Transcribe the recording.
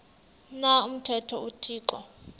na umthetho uthixo